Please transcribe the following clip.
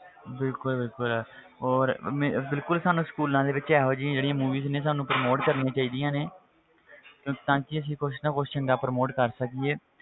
ਬਿਲਕੁਲ ਬਿਲਕੁਲ ਔਰ ਮੈਂ ਬਿਲਕੁਲ ਸਾਨੂੰ schools ਦੇ ਵਿੱਚ ਇਹੋ ਜਿਹੀ ਜਿਹੜੀ movies ਨੇ ਸਾਨੂੰ promote ਕਰਨੀਆਂ ਚਾਹੀਦੀਆਂ ਨੇ ਤਾਂ ਕਿ ਅਸੀਂ ਕੁਛ ਨਾ ਕੁਛ ਚੰਗਾ promote ਕਰ ਸਕੀਏ,